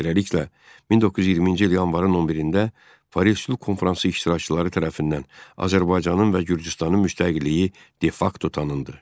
Beləliklə, 1920-ci il yanvarın 11-də Paris Sülh Konfransı iştirakçıları tərəfindən Azərbaycanın və Gürcüstanın müstəqilliyi de-facto tanındı.